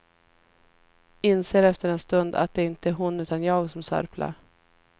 Inser efter en stund att det inte är hon utan jag som sörplar.